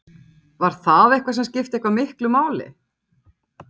Þórhildur: Var það eitthvað sem skipti eitthvað miklu máli?